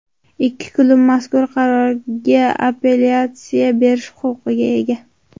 Ikki klub mazkur qarorga apellyatsiya berish huquqiga ega.